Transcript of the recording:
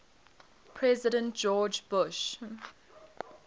president george bush